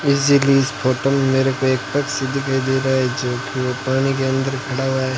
इस फोटो में मेरे को एक पक्षी दिखाई दे रहा है जो कि वो पानी के अंदर खड़ा हुआ है।